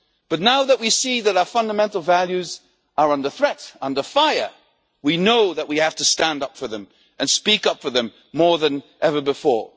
But now that we see that our fundamental values are under threat, under fire, we know that we have to stand up for them and speak up for them more than ever before.